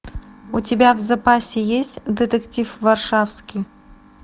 у тебя в запасе есть детектив варшавский